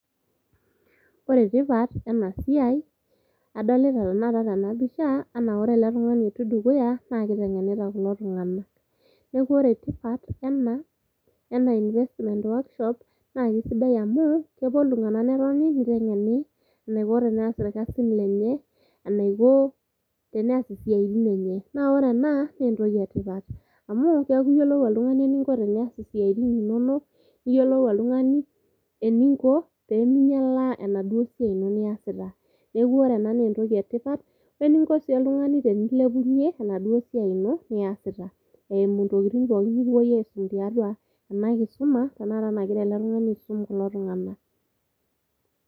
Ore tipat ena siai adolita tenakata tena pisha anaa ore ele tungani otii dukuya naa kitengenita kulo tunganak .Niaku ore tipat ena ,ena investment e workshops naa kisidai amu kepuo iltunganak netoni nitengeni enaiko teneas irkasin lenye, enaiko teneas isiatin enye. Naa ore ena naa entoki etipat ,amu keaku iyiolou oltungani eninko tenias siatin inonok, niyiolou oltungani eninko peminyialaa enaduoo siai ina niasita .Niaku ore ena naa entoki etipat, we eninko sii oltungani tenilepunyie enaduoo siai ino niasita , eimu ntokitin pookin nikipuo aisum tiatua ena kisuma tenakata nagira ele tungani aisum kulo tunganak.